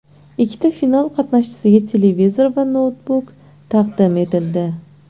Ikkita final qatnashchisiga televizor va noutbuk taqdim etildi.